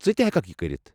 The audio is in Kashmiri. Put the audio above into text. ژٕ تہِ ہیٚکَکھ یہِ کٔرِتھ۔